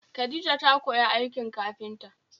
Khadija ta koyi aikin kafinta